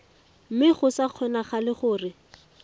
mme go sa kgonagale gore